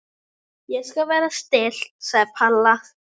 Ég skal vera stillt sagði Palla.